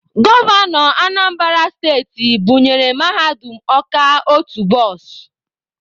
Gọvanọ Anambara steti bunyere Mahadum Ọka otu bọs.